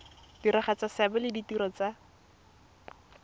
diragatsa seabe le ditiro tsa